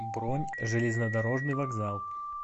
бронь железнодорожный вокзал